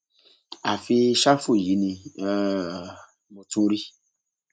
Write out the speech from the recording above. àfi ṣáfù yìí ni um mo tún rí